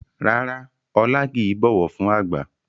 Rárá Ọlá kìí bọ̀wọ̀ fún àgbà